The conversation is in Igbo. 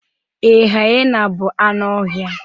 ee, hyena bụ anụ ọhịa